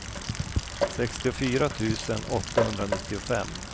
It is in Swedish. sextiofyra tusen åttahundranittiofem